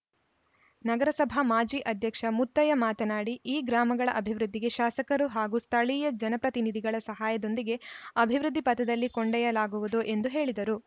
ನಗರಸಭಾ ಮಾಜಿ ಅಧ್ಯಕ್ಷ ಮುತ್ತಯ್ಯ ಮಾತನಾಡಿ ಈ ಗ್ರಾಮಗಳ ಅಭಿವೃದ್ಧಿಗೆ ಶಾಸಕರು ಹಾಗೂ ಸ್ಥಳೀಯ ಜನಪ್ರತಿನಿಧಿಗಳ ಸಹಯದೊಂದಿಗೆ ಅಭಿವೃದ್ಧಿ ಪಥದಲ್ಲಿ ಕೊಂಡ್ಯೊಯ್ಯಲಾಗುವುದು ಎಂದು ಹೇಳಿದರು